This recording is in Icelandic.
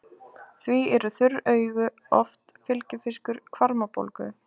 Því eru þurr augu oft fylgifiskur hvarmabólgu.